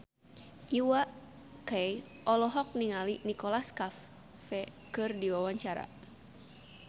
Iwa K olohok ningali Nicholas Cafe keur diwawancara